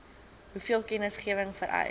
hoeveel kennisgewing vereis